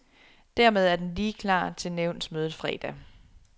Dermed er den lige klar til nævnsmødet fredag.